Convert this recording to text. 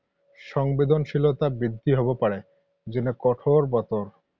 সংবেদনশীলতা বৃদ্ধি হ’ব পাৰে। যেনে কঠোৰ বতৰ।